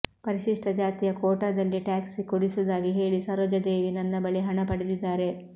ಪರಿಶಿಷ್ಟ ಜಾತಿಯ ಕೋಟಾದಲ್ಲಿ ಟ್ಯಾಕ್ಸಿ ಕೊಡಿಸುವುದಾಗಿ ಹೇಳಿ ಸರೋಜಾದೇವಿ ನನ್ನ ಬಳಿ ಹಣ ಪಡೆದಿದ್ದಾರೆ